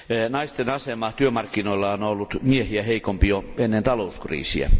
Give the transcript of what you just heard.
Naisten asema työmarkkinoilla on ollut miehiä heikompi jo ennen talouskriisiä.